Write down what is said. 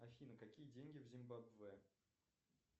афина какие деньги в зимбабве